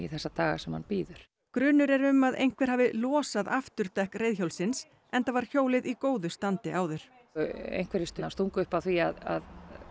þessa daga sem hann bíður grunur er um að einhver hafi losað afturdekk reiðhjólsins enda var hjólið í góðu standi áður einhverjir stungu upp á því að